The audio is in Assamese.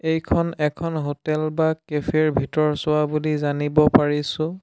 এইখন এখন হোটেল বা কেফে ৰ ভিতৰচোৱা বুলি জানিব পাৰিছোঁ।